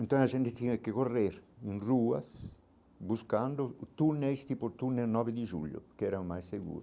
Então a gente tinha que correr em ruas buscando túneis, tipo o túnel nove de julho, que era o mais seguro.